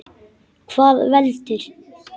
Hvað veldur?